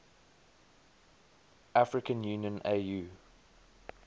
african union au